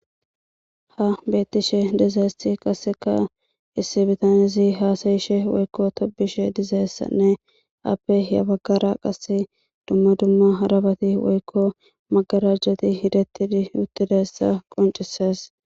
Ha betishe dizayisi issi bitanezi hasayishe dizayissa woyiko tobishe dizayisane appe ya baggara duma duma hara bati woyiko magarajiti yedeti dizayisa qoncisesi